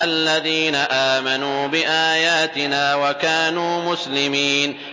الَّذِينَ آمَنُوا بِآيَاتِنَا وَكَانُوا مُسْلِمِينَ